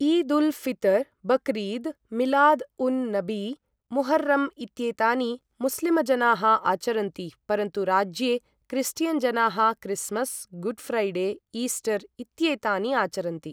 ईद् उल् फितर्, बकरीद्, मिलाद् उन् नबी, मुहर्रम् इत्येतानि मुस्लिम् जनाः आचरन्ति, परन्तु राज्ये क्रिस्टियन् जनाः क्रिस्मस्, गुड्फ्रैडे, ईस्टर इत्येतानि आचरन्ति।